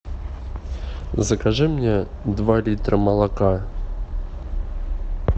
закажи мне два литра молока